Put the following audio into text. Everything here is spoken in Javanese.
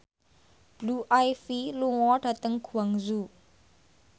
Blue Ivy lunga dhateng Guangzhou